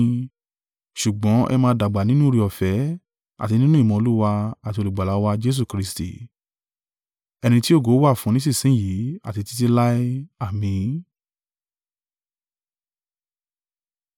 Ṣùgbọ́n ẹ máa dàgbà nínú oore-ọ̀fẹ́ àti nínú ìmọ̀ Olúwa àti Olùgbàlà wa Jesu Kristi. Ẹni tí ògo wà fún nísinsin yìí àti títí láé! Àmín.